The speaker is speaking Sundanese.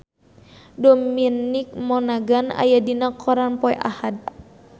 Dominic Monaghan aya dina koran poe Ahad